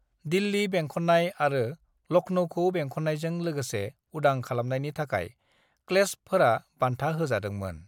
दिल्ली बेंखननाय आरो लखनऊखौ बेंखननायजों लोगोसे उदां खालामनायनि थाखाय क्लेस्पफोरा बान्था होजादोंमोन।